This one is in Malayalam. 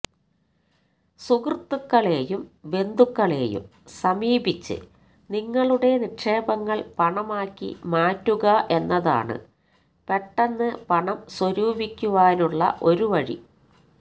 സുഹൃത്തുക്കളെയും ബന്ധുക്കളെയും സമീപിച്ച് നിങ്ങളുടെ നിക്ഷേപങ്ങള് പണമാക്കി മാറ്റുക എന്നതാണ് പെട്ടെന്ന് പണം സ്വരൂപിക്കുവാനുള്ള ഒരു വഴി